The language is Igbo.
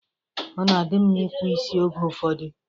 Ọ na adị mma ịkpụ isi oge ụfọdụ